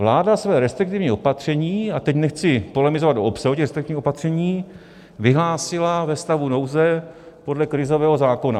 Vláda své restriktivní opatření, a teď nechci polemizovat o obsahu těch restriktivních opatření, vyhlásila ve stavu nouze podle krizového zákona.